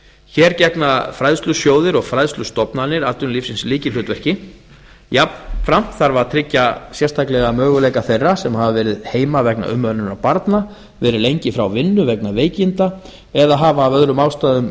hér gegna fræðslusjóðir og fræðslustofnanir atvinnulífsins lykilhlutverki jafnframt þarf að tryggja sérstaklega möguleika þeirra sem hafa verið heima vegna umönnunar barna verið lengi frá vinnu vegna veikinda eða hafa af öðrum ástæðum